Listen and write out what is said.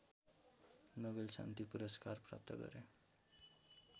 Nobel शान्ति पुरस्कार प्राप्त गरे